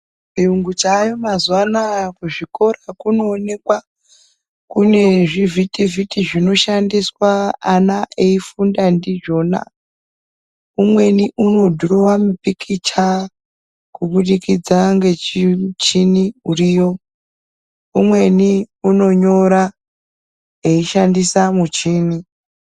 Chiyungu chaayo mazuwa anaya, kuzviikora kunoonekwa kune zvivhiti vhiti zvinoshandiswa ana eifunda ndizvona, umweni unodhurowa mupikicha kubudikidza ngechichini uriyo, umweni unonyora eishandisa muchini.